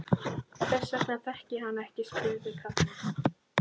Hvers vegna þekkti ég hann ekki? spurði Karl.